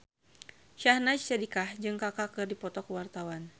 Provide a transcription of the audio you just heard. Syahnaz Sadiqah jeung Kaka keur dipoto ku wartawan